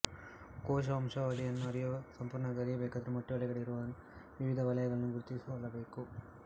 ಕೋಶವಂಶಾವಳಿಯನ್ನು ಸಂಪುರ್ಣವಾಗಿ ಅರಿಯಬೇಕಾದರೆ ಮೊಟ್ಟೆಯೊಳಗೆ ಇರುವ ವಿವಿಧ ವಲಯಗಳನ್ನು ಗುರುತಿಸಿಕೊಳ್ಳಬೇಕು